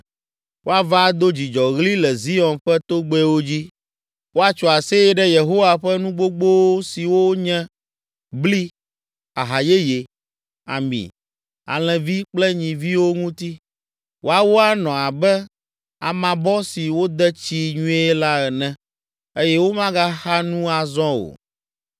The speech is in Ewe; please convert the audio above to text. Woava ado dzidzɔɣli le Zion ƒe togbɛwo dzi. Woatso aseye ɖe Yehowa ƒe nu gbogbo siwo nye, bli, aha yeye, ami, alẽvi kple nyiviwo ŋuti. Woawo anɔ abe amabɔ si wode tsii nyuie la ene eye womagaxa nu azɔ o.